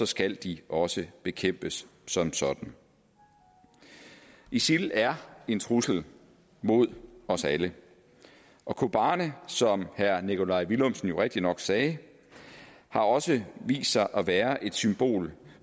skal de også bekæmpes som sådan isil er en trussel mod os alle og kobani som herre nikolaj villumsen jo rigtigt nok sagde har også vist sig at være et symbol